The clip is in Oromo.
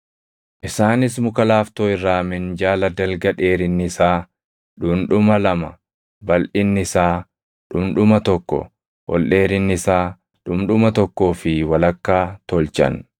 Isaanis muka laaftoo irraa minjaala dalga dheerinni isaa dhundhuma lama, balʼinni isaa dhundhuma tokko, ol dheerinni isaa dhundhuma tokkoo fi walakkaa tolchan.